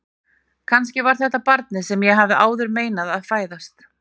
Kannski var þetta barnið sem ég hafði áður meinað að fæðast.